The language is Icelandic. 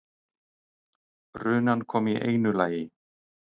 Runan kom í einu lagi.